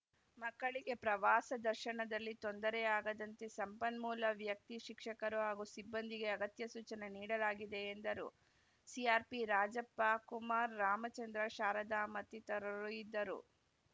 ಮಕ್ಕಳಿಗೆ ಪ್ರವಾಸ ದರ್ಶನದಲ್ಲಿ ತೊಂದರೆ ಆಗದಂತೆ ಸಂಪನ್ಮೂಲ ವ್ಯಕ್ತಿ ಶಿಕ್ಷಕರು ಹಾಗೂ ಸಿಬ್ಬಂದಿಗೆ ಅಗತ್ಯ ಸೂಚನೆ ನೀಡಲಾಗಿದೆ ಎಂದರು ಸಿಆರ್‌ಪಿ ರಾಜಪ್ಪ ಕುಮಾರ್‌ ರಾಮಚಂದ್ರ ಶಾರದ ಮತ್ತಿತರರು ಇದ್ದರು